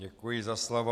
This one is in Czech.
Děkuji za slovo.